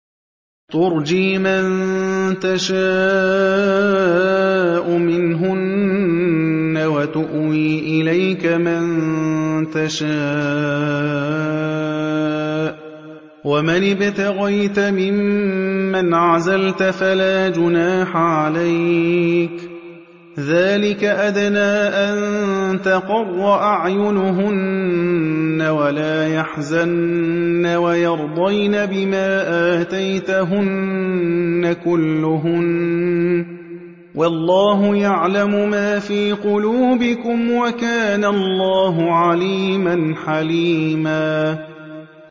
۞ تُرْجِي مَن تَشَاءُ مِنْهُنَّ وَتُؤْوِي إِلَيْكَ مَن تَشَاءُ ۖ وَمَنِ ابْتَغَيْتَ مِمَّنْ عَزَلْتَ فَلَا جُنَاحَ عَلَيْكَ ۚ ذَٰلِكَ أَدْنَىٰ أَن تَقَرَّ أَعْيُنُهُنَّ وَلَا يَحْزَنَّ وَيَرْضَيْنَ بِمَا آتَيْتَهُنَّ كُلُّهُنَّ ۚ وَاللَّهُ يَعْلَمُ مَا فِي قُلُوبِكُمْ ۚ وَكَانَ اللَّهُ عَلِيمًا حَلِيمًا